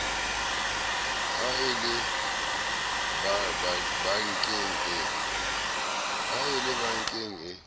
ha e le bankeng e